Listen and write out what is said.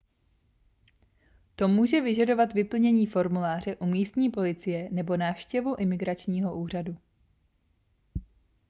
to může vyžadovat vyplnění formuláře u místní policie nebo návštěvu imigračního úřadu